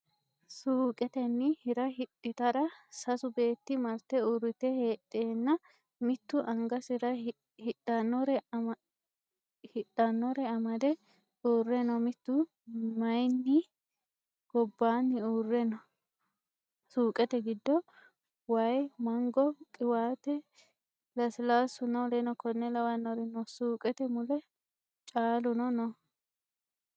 Suuqetenni hi'ra hidhita'ra sasu beetti marte uurrite heedheenna Mittu angasi'ra hidhannore amade uurre no Mittu mayinni gobbaanni uurre no. Suuqete giddo way, mango, qiwaate Lasilaassunna W.K.L. no Suuqete mule caaluno no.